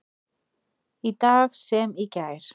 Í dag sem í gær.